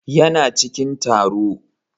Yana cikin taro.